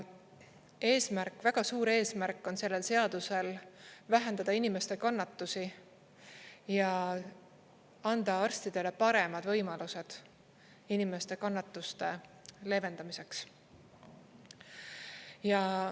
Eesmärk, väga suur eesmärk on sellel seadusel vähendada inimeste kannatusi ja anda arstidele paremad võimalused inimeste kannatuste leevendamiseks.